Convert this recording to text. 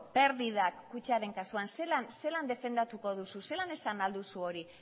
perdidak kutxaren kasuan zelan defendatuko duzu zelan esan ahal duzu hori